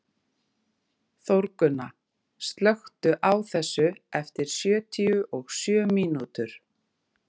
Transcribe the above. Þórgunna, slökktu á þessu eftir sjötíu og sjö mínútur.